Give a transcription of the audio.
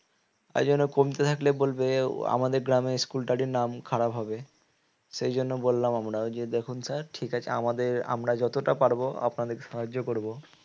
আয়োজনে কমতি থাকলে বলবে আমাদের গ্রামে school টারই নাম খারাপ হবে সেজন্য বললাম আমরা ও যে দেখুন sir ঠিক আছে আমাদের আমরা যতটুকু পারবো আপনাদেরকে সাহায্য করবো